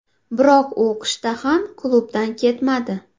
Biroq u qishda ham klubdan ketmadi.